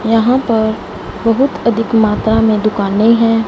यहां पर बहुत अधिक मात्रा में दुकानें हैं।